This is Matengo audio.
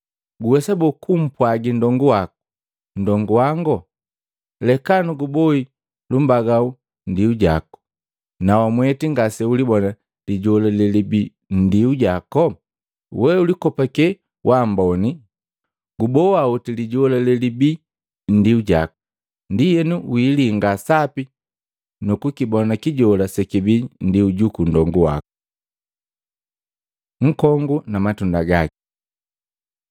Guwesa boo, kumpwagi nndongu wako, ‘Nndongu wango, leka nuguboi lumbagau nndiu jaku,’ na wamweti ngaseulibona lijola lelibii nndiu jako? We ulikopake waamboni! Guboa oti lijola lelibii nndiu jaku, ndienu wiilinga sapi nukukibona kijola sekibii nndiu juku nndongu waku. Nkongu na matunda gaki Matei 7:16-20; 12:33-35